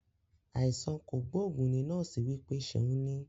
Àìsàn kogboogun ní nọ́ọ̀sì wí pé ṣeun ní